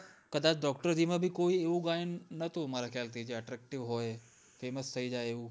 કદાચ doctor માં ભી કોઈ એવું ગાયન નોતું જે attractive હોય famous થઈ જાય એવું